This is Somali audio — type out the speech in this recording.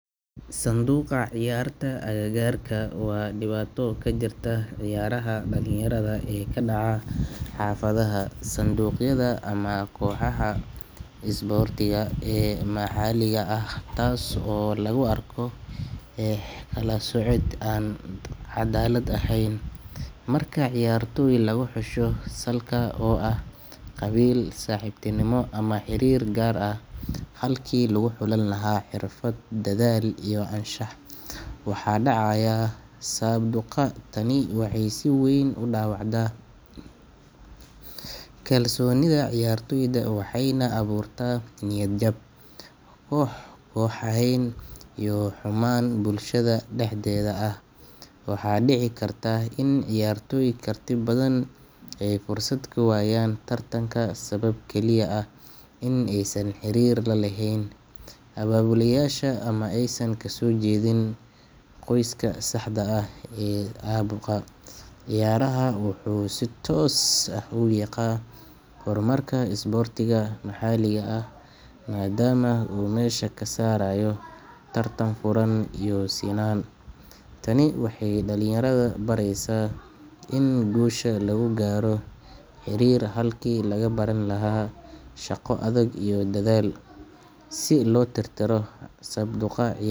Sabduqa ciyaarta agagaarka waa dhibaato ka jirta ciyaaraha dhalinyarada ee ka dhaca xaafadaha, dugsiyada ama kooxaha isboortiga ee maxalliga ah, taas oo lagu arko eex iyo kala soocid aan cadaalad ahayn. Marka ciyaartoy lagu xusho salka oo ah qabiil, saaxiibtinimo, ama xiriir gaar ah halkii lagu xulan lahaa xirfad, dadaal iyo anshax, waxaa dhacaya sabduqa. Tani waxay si weyn u dhaawacdaa kalsoonida ciyaartoyda, waxayna abuurtaa niyad jab, koox kooxayn iyo xumaan bulshada dhexdeeda ah. Waxaa dhici karta in ciyaartoy karti badan ay fursad ka waayaan tartanka sabab kaliya ah in aysan xiriir la lahayn abaabulayaasha ama aysan kasoo jeedin qoyska saxda ah. Sabduqa ciyaaraha wuxuu si toos ah u wiiqaa horumarka isboortiga maxalliga ah maadaama uu meesha ka saarayo tartan furan iyo sinnaan. Tani waxay dhalinyarada baraysaa in guusha lagu gaaro xiriir halkii laga baran lahaa shaqo adag iyo dadaal. Si loo tirtiro sabduqa ciy.